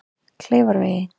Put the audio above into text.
Kleifarvegi